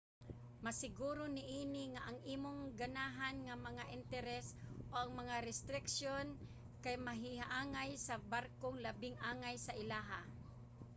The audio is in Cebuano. masiguro niini nga ang imong ganahan nga mga interes ug/o mga restriksiyon kay mahiangay sa barkong labing angay sa ilaha